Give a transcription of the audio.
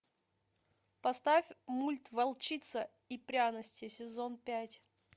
поставь мульт волчица и пряности сезон пять